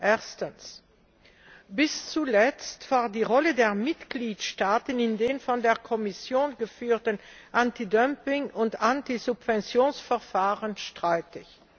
Erstens Bis zuletzt war die Rolle der Mitgliedstaaten in den von der Kommission geführten Anti Dumping und Anti Subventions Verfahren streitig.